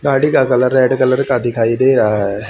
साड़ी का colour red colour का दिखाई दे रहा है।